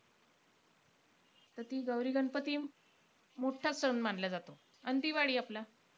त ती गौरी-गणपती मोठा सण मानला जातो आणि दिवाळी आपला.